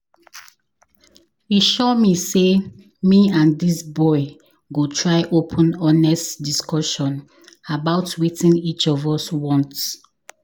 E sure me sey me and dis boy go try open honest discussion about wetin each of us want.